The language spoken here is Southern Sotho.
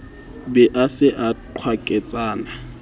be a se a qwaketsana